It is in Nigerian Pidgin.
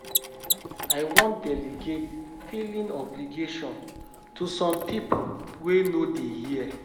I wan delegate filing obligation to some people wey no dey here